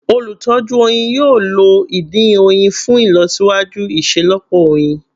Olutọju oyin yoo lo idin oyin fun ilọsiwaju iṣelọpọ oyin